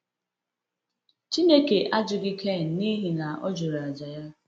Chineke ajụghị [cs Kain n’ihi na ọ jụrụ àjà ya.